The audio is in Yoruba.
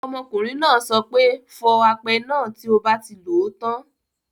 Ọmọkùnrin náà sọ pé; fọ apẹ náà tí o bá ti lòó tán.